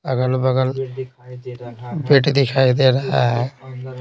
अगल-बगल बिट दिखाई दे रहा है।